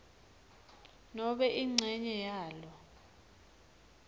nobe incenye yalo